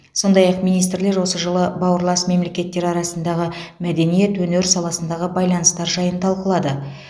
сондай ақ министрлер осы жылы бауырлас мемлекеттер арасындағы мәдениет өнер саласындағы байланыстар жайын талқылады